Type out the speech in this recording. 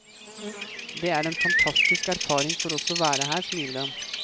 Det er en fantastisk erfaring for oss å være her, smiler han.